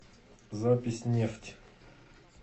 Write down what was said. запись нефть